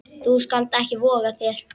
Þú skalt ekki voga þér!